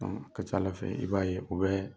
Ka ca Ala fɛ i b'a ye u bɛ